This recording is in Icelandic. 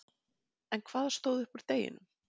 En hvað stóð upp úr deginum?